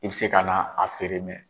I bi se ka na a feere